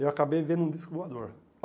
eu acabei vendo um disco voador.